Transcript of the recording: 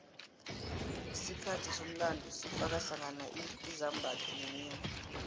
isikhathi somlando sifaka hlangana izimbatho nemikghwa